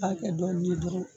I b'a kɛ dɔɔnin ye dɔrɔnw